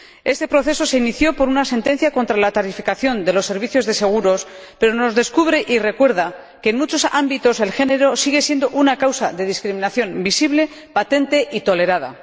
Este proceso se inició por una sentencia contra la tarificación de los servicios de seguros, pero nos descubre y recuerda que, en muchos ámbitos, el género sigue siendo una causa de discriminación visible, patente y tolerada.